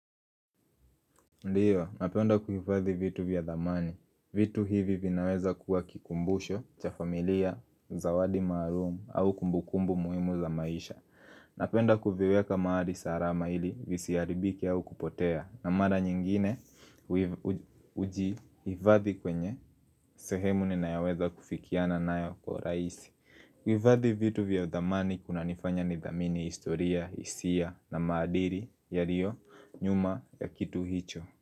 Ndiyo, napenda kuhifadhi vitu vya dhamani. Vitu hivi vinaweza kuwa kikumbusho, cha familia, zawadi maalumu, au kumbukumbu muhimu za maisha. Napenda kuviweka mahali salama ili visiharibike au kupotea. Na mara nyingine huvihifadhi kwenye, sehemu ninayamoweza kufikiana nayo kwa rahisi. Kuhifadhi vitu vya dhamani kunanifanya nidhamini historia, hisia na maadili yalio nyuma ya kitu hicho.